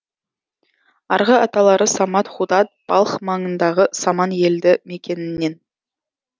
арғы аталары саман худат балх маңындағы саман елді мекенінен